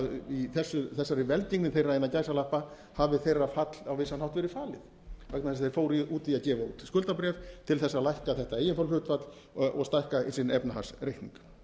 í þessari velgengni þeirra hafi þeirra fall á vissan hátt verið falin vegna þess að þeir fóru út í að gefa út skuldabréf til þess að lækka þetta eiginfjárhluthlutfall og stækka sinn efnahagsreikning